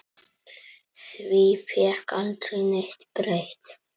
Því fékk aldrei neitt breytt.